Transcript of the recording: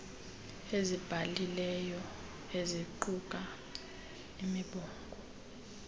azibhalileyo eziquka imibongo